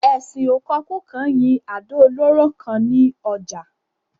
Esin ò kokú kan yín àdò olóró kan ni ojà